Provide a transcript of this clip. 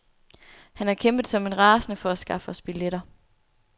Han har kæmpet som en rasende for at skaffe os billetter.